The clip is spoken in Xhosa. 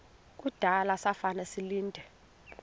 kudala zafa ndilinde